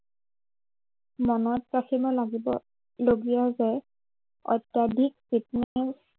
মনত ৰাখিব লগীয়া যে, অত্য়াধিক fitness